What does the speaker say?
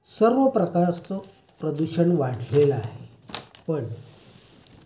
सर्व प्रकारचं प्रदूषण वाढलेलं आहे.